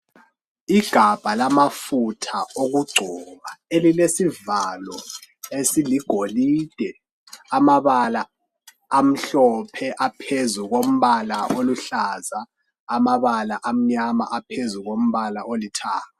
igabha lamafutha wokucoba esilesivalo esiligolide amabala amhlophe aphezulu kompala oluhlaza amabala amnyama aphezulu kompala olithanga